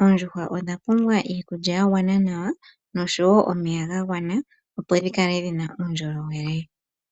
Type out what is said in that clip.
oondjuhwa odha pumbwa iikulya ya gwana nomeya ga gwana opo dhi kale dhi na uundjolowele.